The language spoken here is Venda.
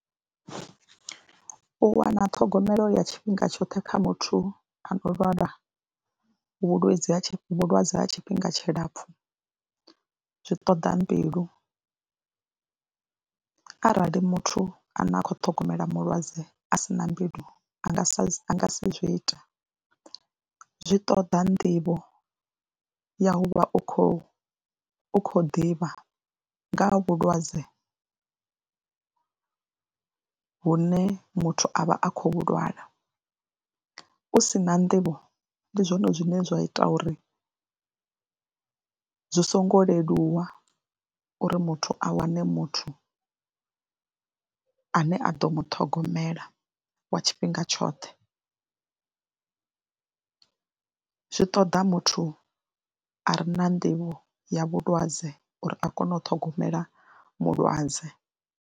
U wana ṱhogomelo ya tshifhinga tshoṱhe kha muthu a neo lwala vhulwadze ha vhulwadze ha tshifhinga tshilapfhu zwi ṱoḓa mbilu. Arali muthu ane a khou ṱhogomela mulwadze a si na mbilu a nga sa a nga si zwi ite. Zwi ṱoḓa nḓivho ya u vha u khou u khou ḓivha nga ha vhulwadze hune muthu a vha a khou vhu lwala, u si na nḓivho ndi zwone zwine zwa ita uri zwi songo leluwa uri muthu a wane muthu ane a ḓo muṱhogomela wa tshifhinga tshoṱhe. Zwi ṱoḓa muthu a re na nḓivho ya vhulwadze uri a kone u ṱhogomela mulwadze.